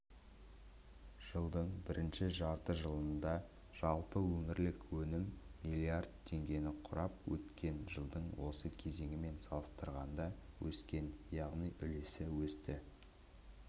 жылдың бірінші жарты жылдығында жалпы өңірлік өнім миллиард теңгені құрап өткен жылдың осы кезеңімен салыстырғанда өскен яғни үлесі өсті